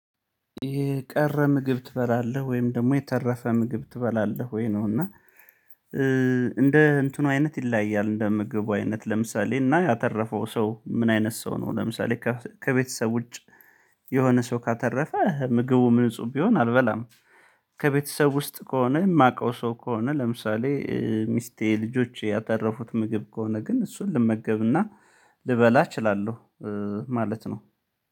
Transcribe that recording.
የቀረ ምግብ ትበላለህ ወይም ደግሞ የተረፈ ምግብ ትበላለህ ወይ? ነው እና እንደ እንትኑ አይነት ይለያያል እንደምግቡ አይነት ለምሳሌ እና ያተረፈው ሰው ምን አይነት ሰው ነው? ለምሳሌ ከቤተሰብ ውጭ የሆነ ሰው ካተረፈ ምግቡም ንጹም ቢሆን አልበላም። ከቤተሰብ ውስጥ ከሆነ የማውቀው ሰው ከሆነ ለምሳሌ ሚስቴ ልጆቼ ያተረፉት ምግብ ከሆነ ግን እሱን ልመገብና ልበላ እችላለሁ። ማለት ነው።